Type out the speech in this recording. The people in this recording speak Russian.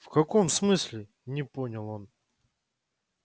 в каком смысле не понял он